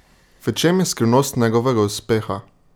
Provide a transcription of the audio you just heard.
V čem je skrivnost njegovega uspeha?